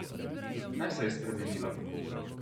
Kaj se je spremenilo?